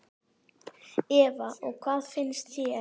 Eva: Og hvað finnst þér?